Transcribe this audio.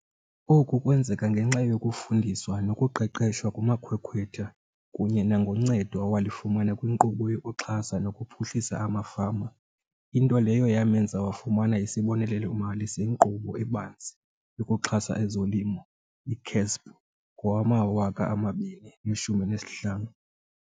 Oku kwenzeka ngenxa yokufundiswa nokuqeqeshwa ngumakhwekhwetha kunye nangoncedo awalifumana kwiNkqubo yokuXhasa nokuPhuhlisa amaFama, into leyo yamenza wafumana isibonelelo-mali seNkqubo eBanzi yokuXhasa ezoLimo, i-CASP, ngowama-2015.